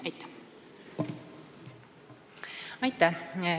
Aitäh!